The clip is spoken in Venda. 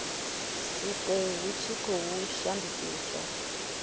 sikwe hu tshi khou shandukiswa